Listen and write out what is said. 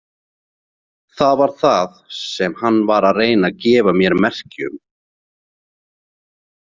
Það var það sem hann var að reyna að gefa mér merki um.